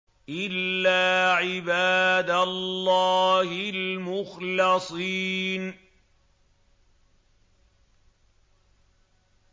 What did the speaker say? إِلَّا عِبَادَ اللَّهِ الْمُخْلَصِينَ